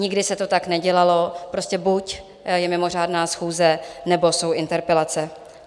Nikdy se to tak nedělalo, prostě buď je mimořádná schůze, nebo jsou interpelace.